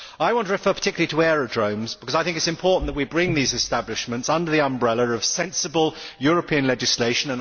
I want to refer particularly to aerodromes because it is important that we bring these establishments under the umbrella of sensible European legislation.